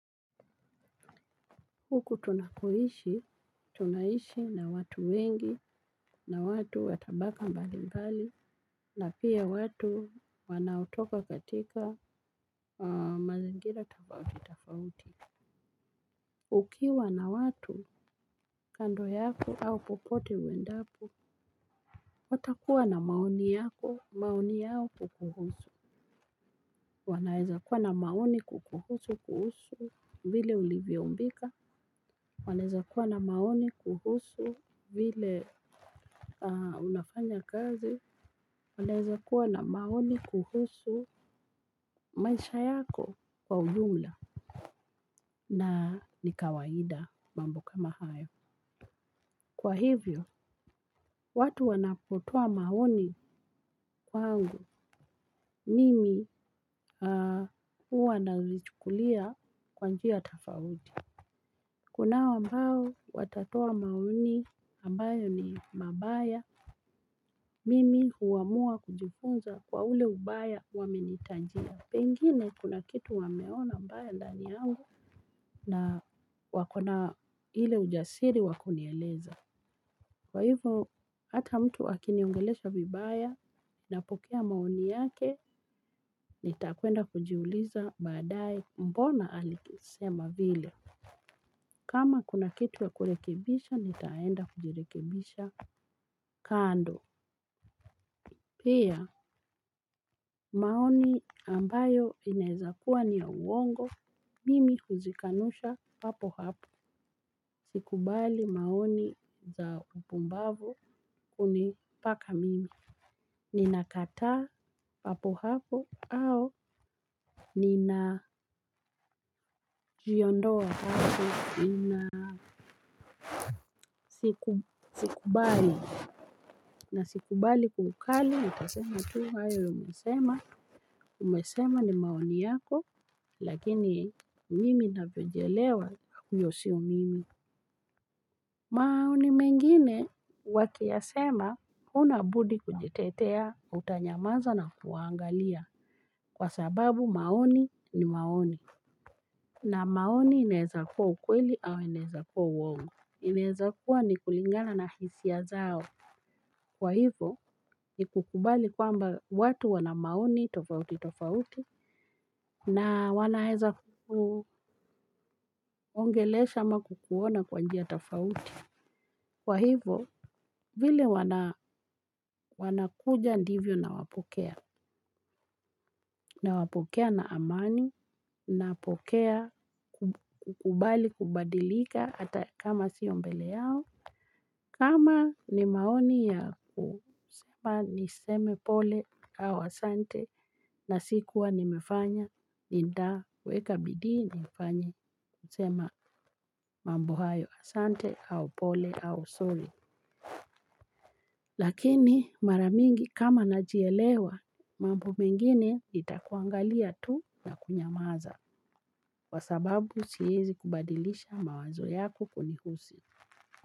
Huku tunakoishi, tunaishi na watu wengi, na watu watabaka mbali mbali, na pia watu wanaotoka katika mazingira tofauti tofauti. Ukiwa na watu, kando yako au popote uendapo, watakuwa na maoni yako, maoni yao kukuhusu. Wanaeza kuwa na maoni kukuhusu kuhusu vile ulivyoumbika wanaeza kuwa na maoni kuhusu vile unafanya kazi wanaeza kuwa na maoni kuhusu maisha yako kwa ujumla na ni kawaida mambo kama hayo kwa hivyo watu wanapotoa maoni kwangu nimi huwa nalichukulia kwa njia tofauti. Kunao ambao watatoa maoni ambayo ni mabaya mimi huamua kujifunza kwa ule ubaya wamenitajia. Pengine kuna kitu wameona mbayq ndani yangu na wakona ile ujasiri wakunieleza. Kwa hivyo hata mtu akiniongelesha vibaya napokea maoni yake nitakwenda kujiuliza badaaye mbona alisema vile. Kama kuna kitu ya kurekebisha, nitaenda kujirekebisha kando. Pia, maoni ambayo inaezakuwa ni ya uongo. Mimi huzikanusha hapo hapo. Sikubali maoni za upumbavu kunipaka mimi. Ninakata hapo hapo au ninajiondoa hapo. Ina sikubali na sikubali kwa ukali nitasema tu hayo umesema umesema ni maoni yako lakini mimi navyojielewa huyo sio mimi. Maoni mengine wakiyasema huna budi kujitetea utanyamaza na kuwangalia kwa sababu maoni ni maoni. Na maoni inaezakua ukweli au inaezakua uongo. Inaeza kuwa ni kulingana na hisia zao. Kwa hivo ni kukubali kwamba watu wana maoni tofauti tofauti na wanaeza kukuongelesha ama kukuona kwa njia tofauti. Kwa hivo vile wanakuja ndivyo nawapokea. Na mwapokea na amani napokea kukubali kubadilika hata kama sio mbele yao. Kama ni maoni ya kusema niseme pole au asante na sikuwa nimefanya, nitaweka bidii nifanye nisema mambo hayo asante au pole au sorry. Lakini maramingi kama najielewa, mambo mengine nitakuangalia tu na kunyamaza, kwa sababu siezi kubadilisha mawazo yako kunihusi.